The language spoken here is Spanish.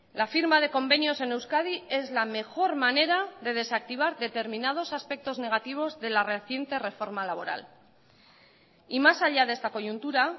la firma de convenios en euskadi es la mejor manera de desactivar determinados aspectos negativos de la reciente reforma laboral y más allá de esta coyuntura